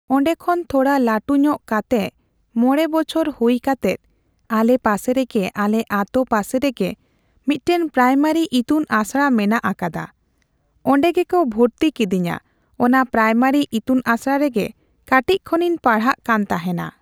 ᱚᱸᱰᱮ ᱠᱷᱚᱱ ᱛᱷᱚᱲᱟ ᱞᱟᱹᱴᱩᱧᱚᱜ ᱠᱟᱛᱮᱜ ᱯᱟᱸᱪ ᱢᱚᱲᱮ ᱵᱚᱪᱷᱚᱨ ᱦᱩᱭ ᱠᱟᱛᱮᱫ ᱟᱞᱮ ᱯᱟᱥᱮ ᱨᱮᱜᱮ ᱟᱞᱮ ᱟᱛᱳ ᱯᱟᱥᱮᱨᱮᱜᱮ ᱢᱤᱫᱴᱮᱱ ᱯᱨᱟᱭᱢᱟᱨᱤ ᱤᱛᱩᱱ ᱟᱥᱲᱟ ᱢᱮᱱᱟᱜ ᱟᱠᱟᱫᱟ ᱚᱸᱰᱮ ᱚᱸᱰᱮ ᱜᱮᱠᱚ ᱵᱷᱚᱨᱛᱤ ᱠᱮᱫᱤᱧᱟ ᱚᱱᱟ ᱯᱨᱟᱭᱢᱟᱨᱤ ᱤᱛᱩᱱ ᱟᱥᱲᱟ ᱨᱮᱜᱮ ᱠᱟᱹᱴᱤᱡ ᱠᱷᱚᱱᱤᱧ ᱯᱟᱲᱦᱟᱜ ᱠᱟᱱᱛᱟᱦᱮᱱᱟ